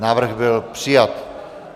Návrh byl přijat.